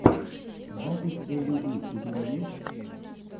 запись элли ди у тебя есть